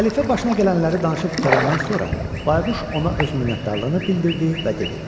Xəlifə başına gələnləri danışıb qurtarandan sonra, bayquş ona öz minnətdarlığını bildirdi və dedi: